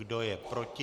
Kdo je proti?